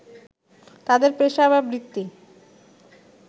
তাদের পেশা বা বৃত্তি